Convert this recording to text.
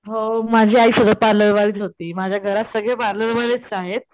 हो माझी आई सुद्धा पार्लर वालीच होती माझ्या घरात सगळे पार्लर वालेच आहेत.